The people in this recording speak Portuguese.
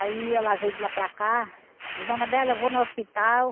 Aí, ela veio de lá para cá, disse, Dona Bela, eu vou no hospital.